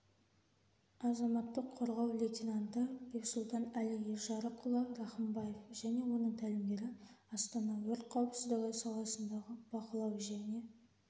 азаматтық қорғау лейтенанты бексұлтан-әли ержарықұлы рахымбаев және оның тәлімгері астана өрт қауіпсіздігі саласындағы бақылау және